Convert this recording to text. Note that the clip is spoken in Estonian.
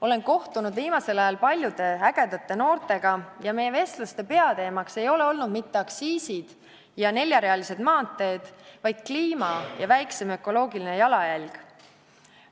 Olen kohtunud viimasel ajal paljude ägedate noortega ja meie vestluste peateemaks ei ole olnud mitte aktsiisid ja neljarealised maanteed, vaid kliima ja väiksem ökoloogiline jalajälg.